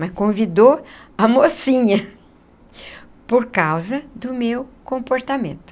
Mas convidou a mocinha por causa do meu comportamento.